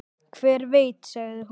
Hver veit, sagði hún.